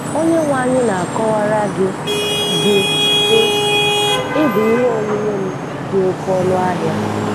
Onyenwe anyị na-akọwara gị, gị, sị: “Ị bụ ihe onwunwe m dị oké ọnụ ahịa.